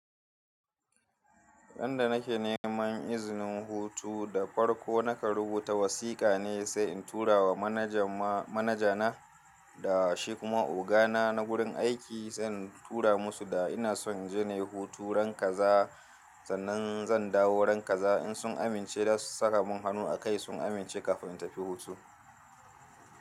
Dan da nake neman izinin hutu da farko nakan rubuta wasiƙa ne sai in tura wa manaja na da shi kuma ogana na gurin aiki sai in tura musu da ina son inje inyi hutu ran kaza sannan zan dawo ran kaza in sun amince da saka mun hanu a kai sun amince kafin in tafi hutu.